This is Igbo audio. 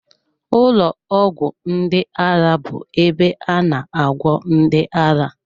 Ụlọ ọgwụ ndị ara bụ ebe a na agwọ ndị ara